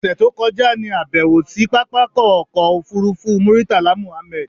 ọ̀ṣẹ̀ tó kọjá ní àbẹ̀wò sí pápákọ̀ ọkọ̀ òfurufú Murtala Mohammed.